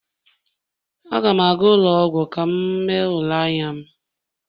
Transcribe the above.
Aga m aga ụlọ ọgwụ ka m mee ule n'anya m